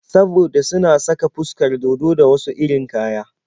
Saboda suna saka fuskar dodo da wasu irin kaya.